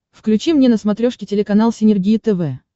включи мне на смотрешке телеканал синергия тв